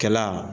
Kɛla